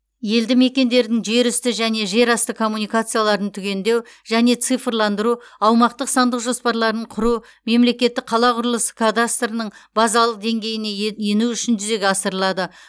елді мекендердің жер үсті және жер асты коммуникацияларын түгендеу және цифрландыру аумақтық сандық жоспарларын құру мемлекеттік қала құрылысы кадастрының базалық деңгейіне ен ену үшін жүзеге асырылады